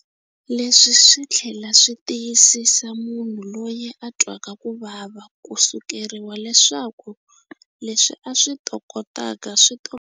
Leswi swi nga tlhela swi tiyisisa munhu loyi a twaka ku vava ko sukeriwa leswaku leswi a swi tokotaka swi to.